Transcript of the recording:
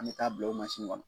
An bɛ taa'a bil'o mansini ŋɔnɔ